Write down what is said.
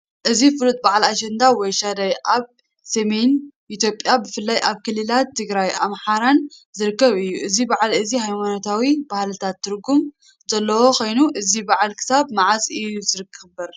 እቲ ፍሉጥ በዓል "ኣሸንዳ" ወይ "ሻደይ" ኣብ ሰሜን ኢትዮጵያ ብፍላይ ኣብ ክልላት ትግራይን ኣምሓራን ዝኽበር እዩ። እዚ በዓል እዚ ሃይማኖታውን ባህላውን ትርጉም ዘለዎ ኮይኑ፡ እዚ በዓል ክሳብ መዓስ እዩ ዝኽበር?